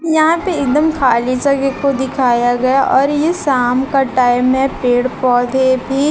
यहां पे एकदम खाली जगह को दिखाया गया और ये शाम का टाइम है पेड़ पौधे भी--